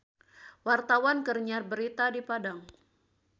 Wartawan keur nyiar berita di Padang